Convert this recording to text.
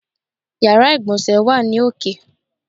Yàrá ìgbọ̀nsé wà ní òkè.